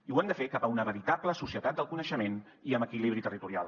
i ho hem de fer cap a una veritable societat del coneixement i amb equilibri territorial